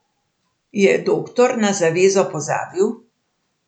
Je doktor na zavezo pozabil?